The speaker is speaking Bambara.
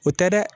O tɛ dɛ